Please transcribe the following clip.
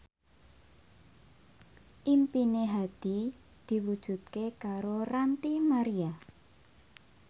impine Hadi diwujudke karo Ranty Maria